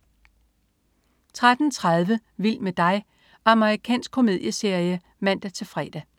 13.30 Vild med dig. Amerikansk komedieserie (man-fre)